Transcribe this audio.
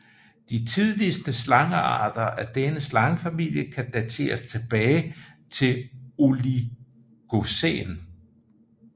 De tidligste slangearter af denne slangefamilie kan dateres tilbage til oligocæn